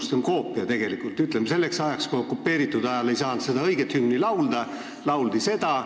See on n-ö koopia: kui okupeeritud ajal ei saanud õiget hümni laulda, siis lauldi seda.